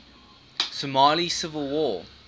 somali civil war